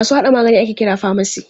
Masu haɗa magani ake kira famasi.